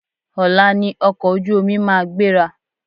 Ọ̀la ni ọkọ̀ ojú omi ma gbéra.